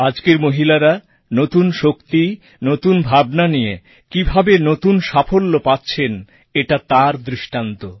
আজকের মহিলারা নতুন শক্তি নতুন ভাবনা নিয়ে কীভাবে নতুন সাফল্য পাচ্ছেন এটা তার দৃষ্টান্ত